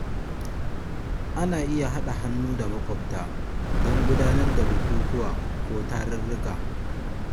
Ana iya haɗa hannu da maƙwabta don gudanar da bukukuwa ko tarurruka.